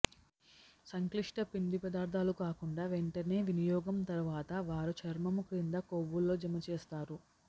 సంక్లిష్ట పిండిపదార్ధాలు కాకుండా వెంటనే వినియోగం తర్వాత వారు చర్మము క్రింద కొవ్వు లో జమ చేస్తారు